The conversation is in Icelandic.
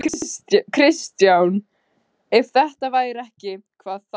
Kristján: Ef þetta væri ekki, hvað þá?